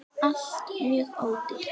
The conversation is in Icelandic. ALLT MJÖG ÓDÝRT!